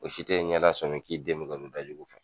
O si tɛ i ɲɛda sɔmi k'i den bɛ ka jugu kɛ